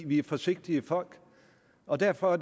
vi er forsigtige folk og derfor